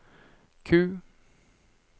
Q